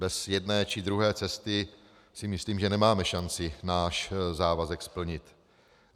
Bez jedné či druhé cesty si myslím, že nemáme šanci náš závazek splnit.